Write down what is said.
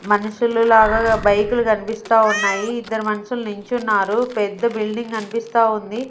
మనుషులు లాగా బైకులు కన్పిస్తా ఉన్నాయి ఇద్దర్ మాన్షులు నించున్నారు పెద్ద బిల్డింగ్ కనిపిస్తా ఉంది.